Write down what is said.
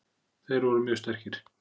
Þeir voru mjög sterkir.